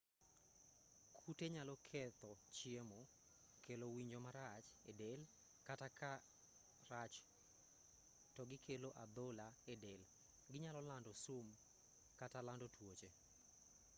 kute nyalo ketho chiemo kelo winjo marach edel kata ka rach to gikelo adhola edel ginyalo lando sum kata lando tuoche